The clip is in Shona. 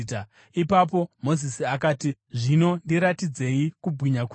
Ipapo Mozisi akati, “Zvino ndiratidzei kubwinya kwenyu.”